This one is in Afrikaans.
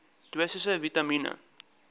dosisse vitamien